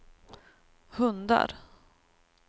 hundar